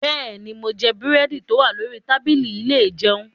Bẹ́ẹ̀ni, mo jẹ búrẹ́dì tó wà lórí tábìlì ilé ìjẹun.